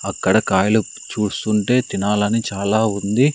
అక్కడ కాయలు చూస్తుంటే తినాలని చాలా ఉంది.